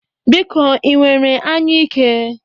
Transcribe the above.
Biko, ị nwere anyụike?